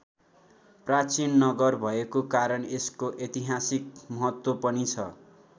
प्राचीन नगर भएको कारण यसको ऐतिहासिक महत्त्व पनि छ।